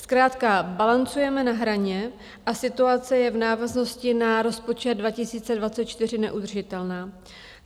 Zkrátka balancujeme na hraně a situace je v návaznosti na rozpočet 2024 neudržitelná.